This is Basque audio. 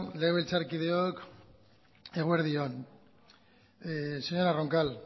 legebiltzarkideok eguerdi on señora roncal